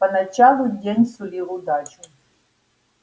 поначалу день сулил удачу